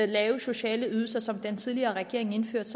lave sociale ydelser som den tidligere regering indførte